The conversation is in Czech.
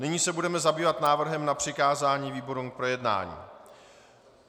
Nyní se budeme zabývat návrhem na přikázání výborům k projednání.